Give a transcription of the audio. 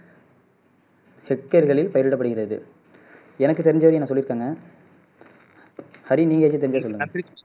செக்கர்களில் பயிரிடப்படுகிறது எனக்கு தெரிஞ்ச வரையும் நான் சொல்லிருக்கேங்க ஹரி நீங்க எதுவும் தெரிஞ்சுக்கணுமா